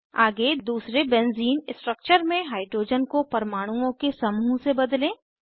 आगे दूसरे benzene structure में हाइड्रोजन को परमाणुओं के समूह से बदलें